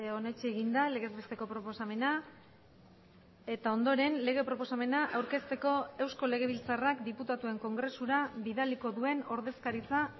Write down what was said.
onetsi egin da legez besteko proposamena eta ondoren lege proposamena aurkezteko eusko legebiltzarrak diputatuen kongresura bidaliko duen ordezkaritza